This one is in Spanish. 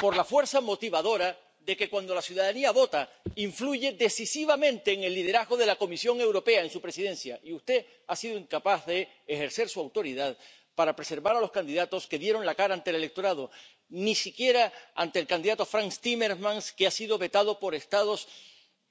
Por la fuerza motivadora de que cuando la ciudadanía vota influye decisivamente en el liderazgo de la Comisión Europea, en su presidencia, y usted ha sido incapaz de ejercer su autoridad para preservar a los candidatos que dieron la cara ante el electorado, ni siquiera al candidato Frans Timmermans, que ha sido vetado por Estados